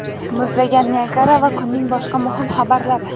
muzlagan Niagara va kunning boshqa muhim xabarlari.